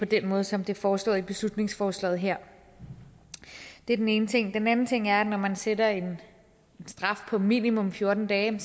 den måde som det er foreslået i beslutningsforslaget her det er den ene ting den anden ting er at når man sætter en straf på minimum fjorten dage